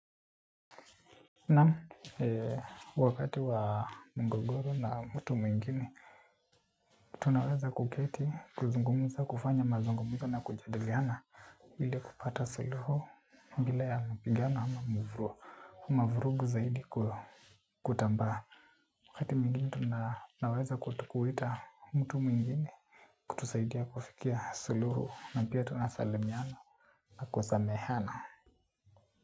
Naam, wakati wa mugogoro na mtu mwingine, tunaweza kuketi, kuzungumuza, kufanya mazungumzo na kujaliana ili kupata suluhu bila ya mpigano ama mvurugu, mavurugu zaidi kutambaa. Wakati mwingine tunaweza kuita mtu mwingine, kutusaidia kufikia suluhu na pia tunasalimiana na kusameheana.